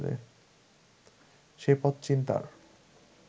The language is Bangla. সে পথ চিন্তার